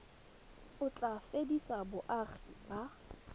o tla fedisa boagi ba